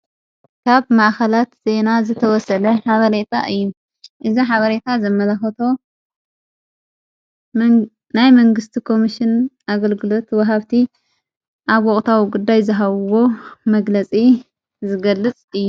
ካብ ማኣኸላት ዜና ዝተወሰለ ሓበሬታ እዩ እዝ ሓበሬታ ዘመላኾቶ ናይ መንግሥቲ ኮምሽን ኣገልግሎት ወሃብቲ ኣ ወቕታዊ ጕዳይ ዝሃብዎ መግለጺ ዝገልጽ እዩ።